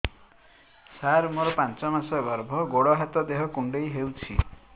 ସାର ମୋର ପାଞ୍ଚ ମାସ ଗର୍ଭ ଗୋଡ ହାତ ଦେହ କୁଣ୍ଡେଇ ହେଉଛି